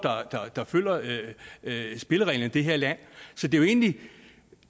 der følger spillereglerne i det her land så det er jo egentlig